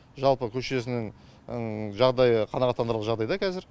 жалпы көшесінің жағдайы қанағаттандырарлық жағдайда қазір